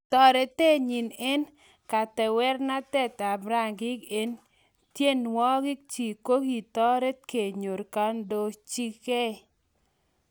Torotet nyi eng katewernatet ap rangik eng tyenwogik chiik kokitoret kenyor kondochigei